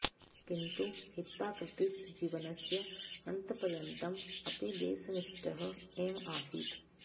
किन्तु हिप्पाक्रटीस् जीवनस्य अन्तपर्यन्तम् अपि देशनिष्ठः एव आसीत्